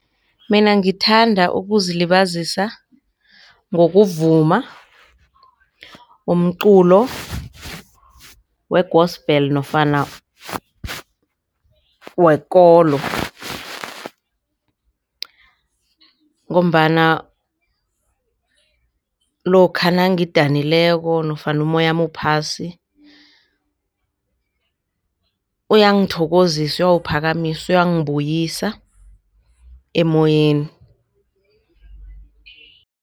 Mina ngithanda ukuzilibazisa ngokuvuma umculo we-gospel nofana wekolo ngombana lokha nangidanileko nofana umoyami uphasi uyangithokozisa, uyawuphakamisa uyangibuyisa emoyeni.